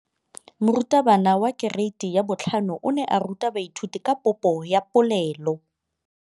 Moratabana wa kereiti ya 5 o ne a ruta baithuti ka popô ya polelô.